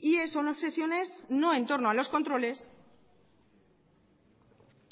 y son obsesiones no en torno a los controles